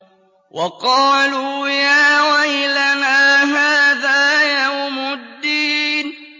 وَقَالُوا يَا وَيْلَنَا هَٰذَا يَوْمُ الدِّينِ